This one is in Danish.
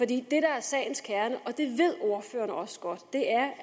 det der er sagens kerne og det ved ordføreren også godt